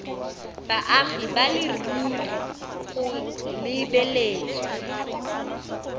baagi ba leruri go lebeletswe